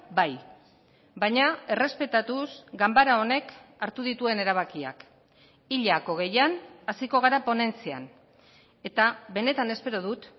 bai baina errespetatuz ganbara honek hartu dituen erabakiak hilak hogeian hasiko gara ponentzian eta benetan espero dut